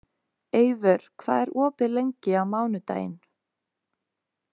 Eivör, hvað er opið lengi á mánudaginn?